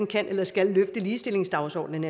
kan eller skal løfte ligestillingsdagsordenen